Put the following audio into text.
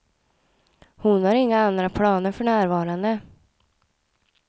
Hon har inga andra planer för närvarande.